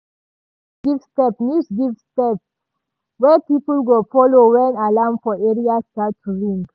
news give step news give step wey people go follow wen alarm for area start to ring.